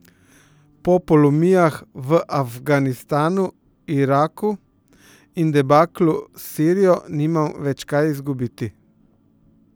Po polomijah v Afganistanu, Iraku in debaklu s Sirijo nima več kaj izgubiti.